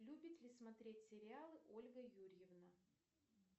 любит ли смотреть сериалы ольга юрьевна